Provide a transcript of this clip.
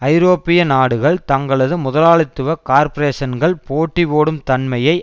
ஐரோப்பிய நாடுகள் தங்களது முதலாளித்துவ கார்ப்பரேஷன்கள் போட்டி போடும் தன்மையை